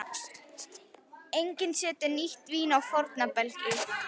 Enginn setur nýtt vín á forna belgi.